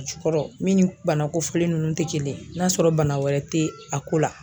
A jukɔrɔ min ni bana kofɔlen nunnu tɛ kelen ye, n'a sɔrɔ bana wɛrɛ tɛ a ko la.